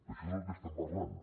això és del que estem parlant